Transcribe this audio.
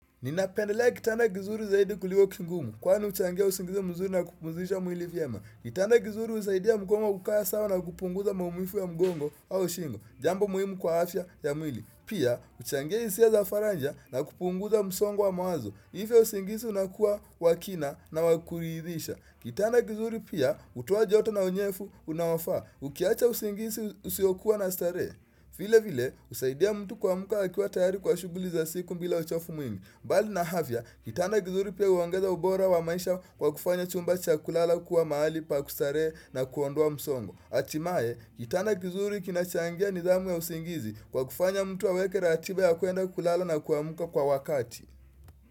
Ninapendelea kitanda kizuri zaidi kulio kingumu kwani uchangia usingizi mzuri na kupumzisha mwili viema. Kitana kizuri usaidia mkongo kukaa sawa na kupunguza maumifu ya mgongo au shingo. Jambo muhimu kwa afya ya mwili. Pia, huchangia hisia za faraja na kupunguza msongo wa mawazo. Ifyo usingizi unakuwa wa kina na wa kuridhisha. Kitanda kizuri pia, hutoa joto na unyefu unaofaa. Ukiacha usingisi usiokuwa na starehe. Vile vile, usaidia mtu kuamuka akiwa tayari kwa shuguli za siku mbila uchofu mwingi. Mbali na afya, kitanda kizuri pia uongeza ubora wa maisha kwa kufanya chumba cha kulala kuwa maali pa kustarehe na kuondoa msongo. Atimae, kitanda kizuri kinachangia nidhamu ya usingizi kwa kufanya mtu aweke ratiba ya kuenda kulala na kuamuka kwa wakati.